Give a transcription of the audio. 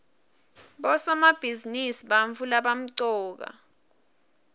bosomabhizinisi bantfu labamcoka